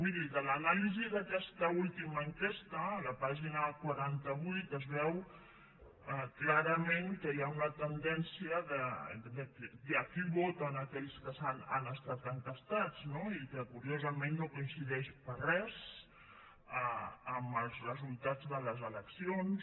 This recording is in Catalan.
miri de l’anàlisi d’aquesta última enquesta a la pàgina quaranta vuit es veu clarament que hi ha una tendència de qui voten aquells que han estat enquestats no i que curiosament no coincideix gens amb els resultats de les eleccions